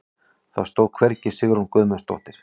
Það stóð hvergi Sigrún Guðmundsdóttir.